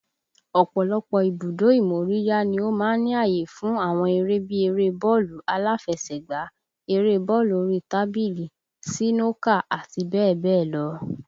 Ọ̀pọ̀lọpọ̀ ibùdó ìmóríyá ni ó máa ń ní àyè fún àwọn eré bí eré bọ́ọ̀lù aláfẹsẹ̀gbá, eré bọ́ọ̀lù orí tábìlì, sínókà, àti bẹ́ẹ̀ bẹ́ẹ̀ lọ.